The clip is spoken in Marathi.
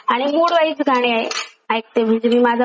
म्हणजे मी माझा मूड चांगला असेल तर चांगले गाणे,